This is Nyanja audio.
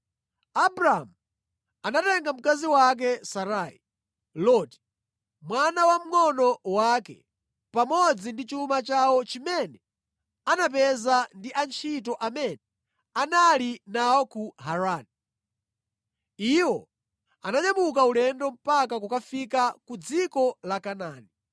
Abramu anatenga mkazi wake Sarai, Loti, mwana wamngʼono wake, pamodzi ndi chuma chawo chimene anapeza ndi antchito amene anali nawo ku Harani. Iwo ananyamuka ulendo mpaka kukafika ku dziko la Kanaani.